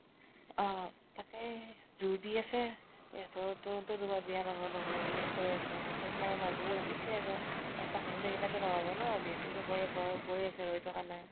অ । তাকে, জোৰ দি আছে তো বিয়া নহওঁ নহঁও বুলিয়ে কৈ আছে । তʼ সেইকাৰণে মাজৰ কেইতায়ে ভাবিছে আৰু এটাক ৰখি থাকিলে তো নহৱ ন, যিহেতু সবৰে বয়স গৈ আছে, ৰৈ থকা নাই ।